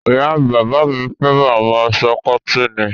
Ìyá-bàbá mi fẹ́ràn àwọn aṣọ kọ́tíìnì.